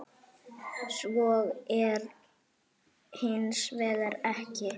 Svo er hins vegar ekki.